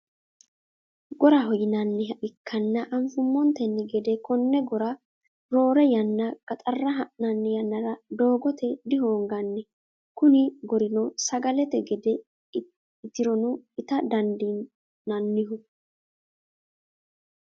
Gorraho yinanniha ikana anfummontenni gedde konne gorra roorre yanna gaxara ha'nanni yannara doogate dihoonganni kunni gorrino sagalete gedde itironno ita dandiinanniho.